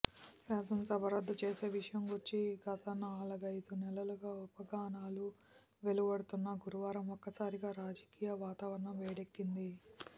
శాసనసభ రద్దుచేసే విషయంగూర్చి గతనాలుగైదు నెలలుగా ఊహాగానాలు వెలువడుతున్నా గురువారం ఒక్కసారిగా రాజకీయ వాతావరణం వేడెక్కింది